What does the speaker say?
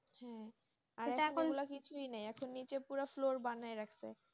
হ্যাঁ এখন ওগুলো কিছুই নেই এখন নিচে পুরো floor বানাইয়া রেখেছে,